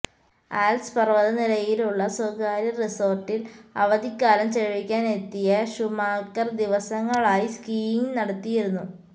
Alps പര്വ്വത നിരയിലുള്ള സ്വകാര്യ റിസോര്ട്ടില് അവധിക്കാലം ചെലവഴിക്കാനെത്തിയ ഷൂമാക്കര് ദിവസങ്ങളായി സ്കീയിങ് നടത്തിയിരുന്നു